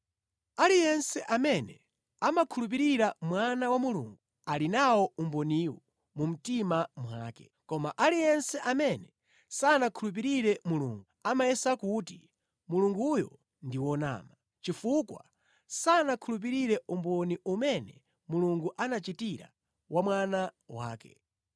Aliyense amene amakhulupirira Mwana wa Mulungu ali nawo umboniwu mu mtima mwake, koma aliyense amene sanakhulupirire Mulungu amayesa kuti Mulunguyo ndi wonama, chifukwa sanakhulupirire umboni umene Mulungu anachitira wa Mwana wake.